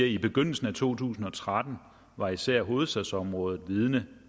i begyndelsen af to tusind og tretten var især hovedstadsområdet vidne